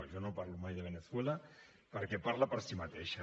no jo no parlo mai de veneçuela perquè parla per si mateixa